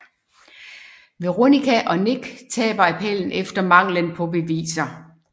Veronica og Nick taber appellen efter manglen på beviser